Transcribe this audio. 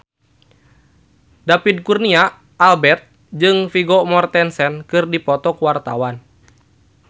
David Kurnia Albert jeung Vigo Mortensen keur dipoto ku wartawan